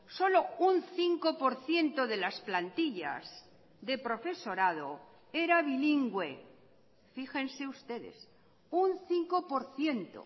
solo un cinco por ciento de las plantillas de profesorado era bilingüe fíjense ustedes un cinco por ciento